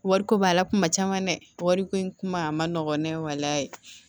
Wariko b'a la kuma caman dɛ wariko in kuma a man nɔgɔ ne ye walahi ye